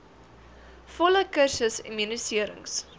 volle kursus immuniserings